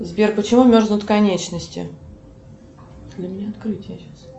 сбер почему мерзнут конечности